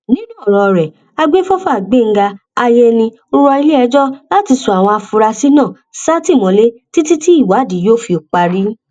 nínú ọrọ rẹ agbefọfà gbẹngàn àyẹni rọ iléẹjọ láti sọ àwọn afurasí náà sátìmọlé títí tí ìwádìí yóò fi parí